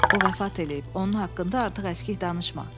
O vəfat eləyib, onun haqqında artıq əskik danışma.